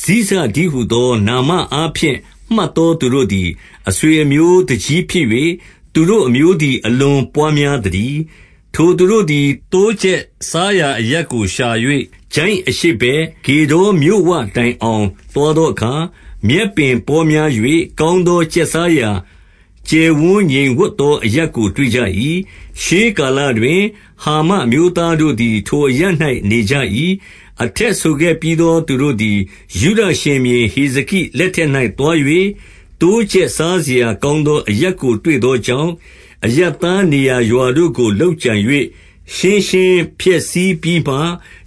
ဇိဇတည်းဟူသော၊ နာမအားဖြင့် မှတ်သော သူတို့သည် အဆွေ အမျိုးသူကြီးဖြစ်၍၊ သူတို့အမျိုးသည် အလွန်ပွားများ သတည်း။ ထိုသူတို့သည် သိုးကျက်စားရာအရပ်ကို ရှာ၍ ချိုင့်အရှေ့ဘက်၊ ဂေဒေါ်မြို့ဝတိုင်အောင် သွားသော အခါ၊ မြက်ပင်ပေါများ၍ ကောင်းသောကျက်စားရာ ကျယ်ဝန်းငြိမ်ဝပ်သော အရပ်ကို တွေ့ကြ၏။ ရှေးကာလ တွင်၊ ဟာမအမျိုးသားတို့သည် ထိုအရပ်၌ နေကြ၏။ အထက်ဆိုခဲ့ပြီးသော သူတို့သည် ယုဒရှင်ဘုရင် ဟေဇကိ လက်ထက်၌သွား၍၊ သိုးကျက်စားစရာ ကောင်းသောအရပ်ကို တွေ့သောကြောင့်၊ အရပ်သား နေရာရွာတို့ကို လုပ်ကြံ၍၊ ရှင်းရှင်းဖျက်ဆီးပြီးမှ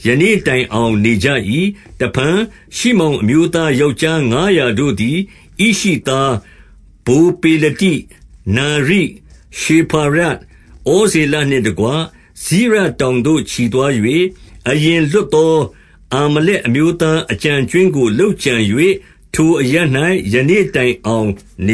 ယနေ့ တိုင်အောင်နေကြ၏။ တဖန် ရှိမောင်အမျိုးသားယောက်ျားငါးရာတို့ သည် ဣရှိသား၊ ဗိုလ်ပေလတိ၊ နာရိ၊ ရေဖာယ၊ ဩဇေလ နှင့်တကွ၊ စိရတောင်သို့ ချီသွား၍၊ အရင်လွတ်သော အာမလက်အမျိုးသားအကျန် အကြွင်းကို လုပ်ကြံ၍ ထိုအရပ်၌ ယနေ့တိုင်အောင် နေ